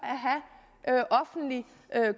at have offentlig